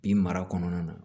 I mara kɔnɔna na